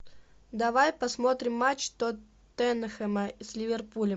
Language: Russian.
давай посмотрим матч тоттенхэма с ливерпулем